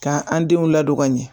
Ka an denw ladon ka ɲɛ